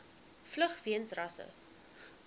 vlug weens rasse